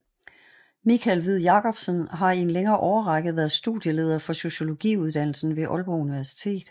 Michael Hviid Jacobsen har i en længere årrække været studieleder for Sociologiuddannelsen ved Aalborg Universitet